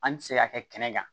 An ti se ka kɛ kɛnɛ kan